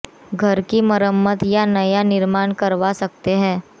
घर की मरम्मत या नया निर्माण करवा सकते हैं